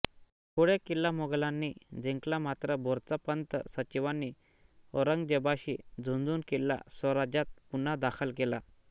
पुढे किल्ला मोगलांनी जिंकला मात्र भोरच्या पंत सचिवांनी औरंगजेबाशी झुंजून किल्ला स्वराज्यात पुन्हा दाखल केला